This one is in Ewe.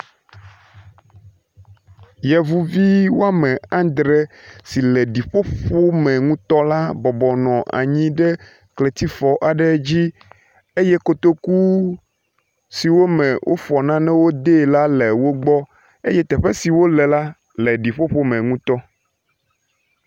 Yevuvi wɔme andre si le ɖiƒoƒo me ŋutɔ la bɔbɔnɔ anyi ɖe kletifɔ aɖe dzi eye kotoku si wofɔ nane de la le wo gbɔ eye teƒe si wo le la le ɖiƒoƒo me ŋutɔ.